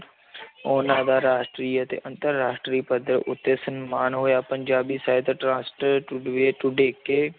ਉਹਨਾਂ ਦਾ ਰਾਸ਼ਟਰੀ ਅਤੇ ਅੰਤਰ ਰਾਸ਼ਟਰੀ ਪੱਧਰ ਉੱਤੇ ਸਨਮਾਨ ਹੋਇਆ ਪੰਜਾਬੀ ਸਾਹਿਤ ਰਾਸ਼ਟਰ